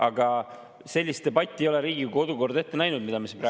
Aga sellist debatti, mida me siin praegu peame, Riigikogu kodukord ette ei näe.